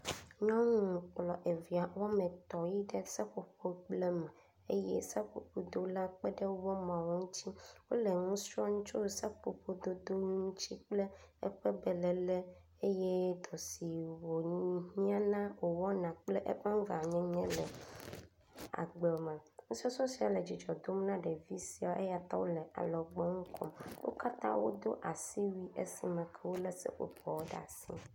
Nyɔnu klpɔ evia wometɔ̃ yi esƒoƒogblẽ me, eye seƒoƒo dolawo kpeɖe womeawo ŋuti, wole nu srɔ̃m ku ɖe seƒoƒodod ŋuti kple eƒe belelẽ eye dɔ si wowɔna le agbe me, nusɔsrɔ̃ sia le dzidzɔ dom na ɖevi siawo eya ta wole alɔgbɔnu kom, wo katã wodo asiwui esi me ke wole seƒoƒoawo ɖe asi